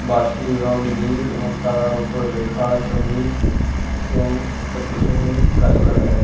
বাস টির রং নীল এবং তার ওপরে লেখা স-অ-মির এবং তার পেছনে গাছপালা দেখা যাচ্ছে ।